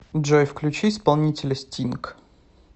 джой включи исполнителя стинг